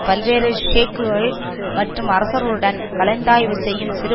பல்வேறு ஷேக்குகள் மற்றும் அரசர்களுடன் கலந்தாய்வு செய்யும் சிறு